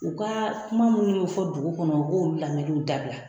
U ka kuma minnu bɛ fɔ dugu kɔnɔ, u k'o lamɛnw dabila.